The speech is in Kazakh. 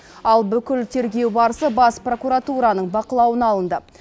ал бүкіл тергеу барысы бас прокуратураның бақылауына алынды